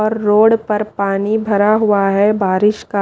और रोड पर पानी भरा हुआ है बारिश का।